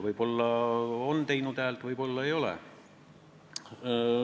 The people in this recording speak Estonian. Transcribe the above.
Võib-olla ta on häält teinud, võib-olla ei ole.